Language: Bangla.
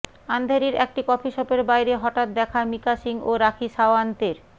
আন্ধেরির একটি কফি শপের বাইরে হঠাত্ দেখা মিকা সিং ও রাখি সাওয়ান্তের